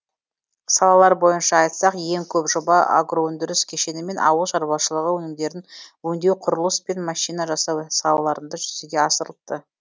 салалар бойынша айтсақ ең көп жоба агроөндіріс кешені мен ауыл шаруашылығы өнімдерін өңдеу құрылыс пен машина жасау салаларында жүзеге асырылыпты